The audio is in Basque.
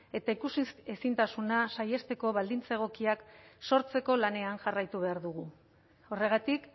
eta ikusiz ezintasuna saihesteko baldintza egokiak sortzeko lanean jarraitu behar dugu horregatik